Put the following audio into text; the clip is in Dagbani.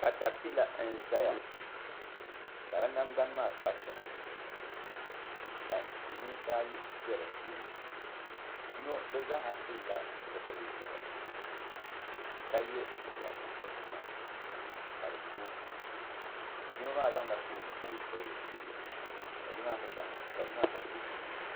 bohambu duu n boŋo mashina bɛ bohambu duu maa puuni ka paɣa ni doo biɛni doo maa ʒimi ka paɣa maa ʒɛya mashina maa pala teebuli zuɣu duu maa kom nyɛla zaɣ nuɣso paɣa maa yɛla liiga buɣso ka doo maa yɛ zaɣ ʒiɛ ka